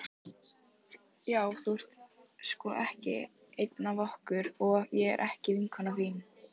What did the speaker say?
Já þú ert sko ekki ein af okkur og ég er ekki vinkona þín.